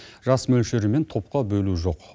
жас мөлшері мен топқа бөлу жоқ